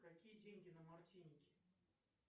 какие деньги на мартинике